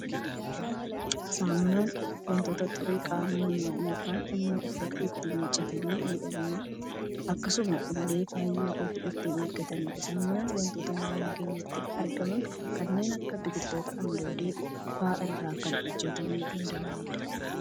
Saamunaan waanta xurii qaama namaa yookaan immoo uffata ittiin miiccatanii miidhaganii, akkasuma illee fayyaa ofii ittiin eeggatanidha. Saamunaan waantota naannoo keenyatti argaman kanneen akka biqiltoota andoodee fa'aa irraa kan hojjetamuu danda'anidha.